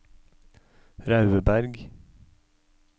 Raudeberg